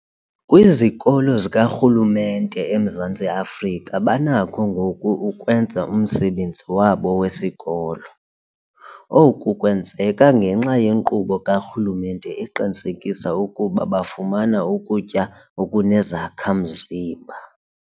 Kwizikolo zikarhulumente eMzantsi Afrika banakho ngoku ukwenza umsebenzi wabo wesikolo. Oku kwenzeka ngenxa yenkqubo karhulumente eqinisekisa ukuba bafumana ukutya okunezakha-mzimba.